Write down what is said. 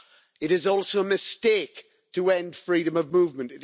It is also a mistake to end freedom of movement.